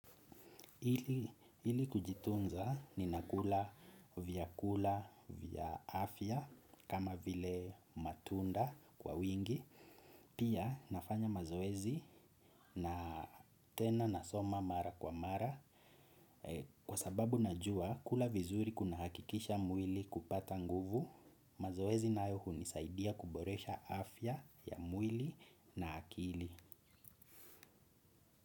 Ili kujitunza ninakula vyakula vya afya kama vile matunda kwa wingi, pia nafanya mazoezi na tena nasoma mara kwa mara kwa sababu najua kula vizuri kunahakikisha mwili kupata nguvu, mazoezi nayo hunisaidia kuboresha afya ya mwili na akili.